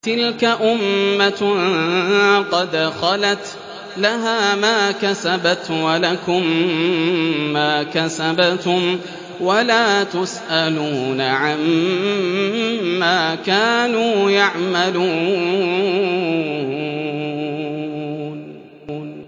تِلْكَ أُمَّةٌ قَدْ خَلَتْ ۖ لَهَا مَا كَسَبَتْ وَلَكُم مَّا كَسَبْتُمْ ۖ وَلَا تُسْأَلُونَ عَمَّا كَانُوا يَعْمَلُونَ